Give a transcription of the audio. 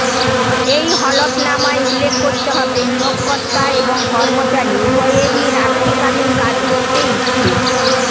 এই হলফনামায় উল্লেখ করতে হবে নিয়োগকর্তা এবং কর্মচারী উভয়েরই রাত্রিকালীন কাজ করতে ইচ্ছুক